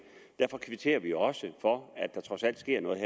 er derfor kvitterer vi også for at der trods alt sker noget